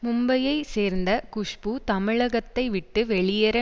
மும்பையை சேர்ந்த குஷ்பு தமிழகத்தை விட்டு வெளியேற